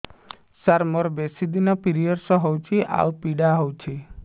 ସାର ମୋର ବେଶୀ ଦିନ ପିରୀଅଡ଼ସ ହଉଚି ଆଉ ପୀଡା ହଉଚି